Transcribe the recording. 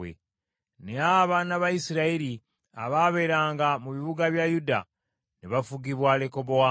Naye abaana ba Isirayiri abaabeeranga mu bibuga bya Yuda, ne bafugibwa Lekobowaamu.